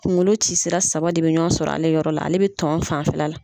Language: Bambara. Kunkolo ci sira saba de be ɲɔgɔn sɔrɔ ale yɔrɔ la , ale be tɔn fanfɛla la.